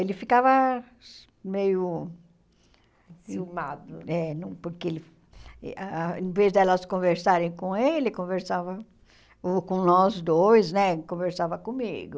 Ele ficava meio enciumado, é porque ele ah, em vez de elas conversarem com ele, conversava ou com nós dois né, conversava comigo.